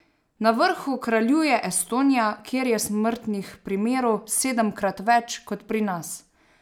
Na vrhu kraljuje Estonija, kjer je smrtnih primerov sedemkrat več kot pri nas.